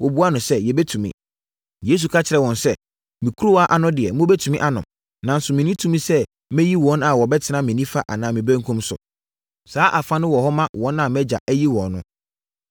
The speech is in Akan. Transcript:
Yesu ka kyerɛɛ wɔn sɛ, “Me kuruwa ano deɛ, mobɛtumi anom, nanso menni tumi sɛ meyi wɔn a wɔbɛtena me nifa anaa me benkum so. Saa afa no wɔ hɔ ma wɔn a mʼagya ayi wɔn no.”